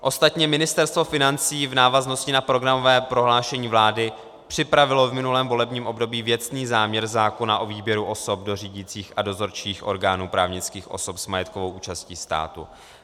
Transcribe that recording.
Ostatně Ministerstvo financí v návaznosti na programové prohlášení vlády připravilo v minulém volebním období věcný záměr zákona o výběru osob do řídících a dozorčích orgánů právnických osob s majetkovou účastí státu.